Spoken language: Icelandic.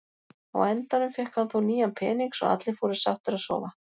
Á endanum fékk hann þó nýjan pening svo allir fóru sáttir að sofa.